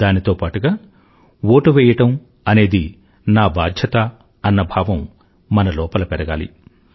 దానితో పాటుగా ఓటువెయ్యడం అనేది నా బాధ్యత అన్న భావం మన లోపల పెరగాలి